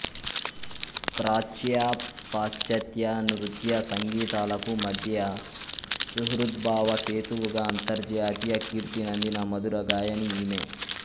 ప్రాచ్య పాశ్చాత్య నృత్య సంగీతాలకు మధ్య సుహృద్భావ సేతువుగా అంతర్జాతీయ కీర్తినందిన మధురగాయని ఈమె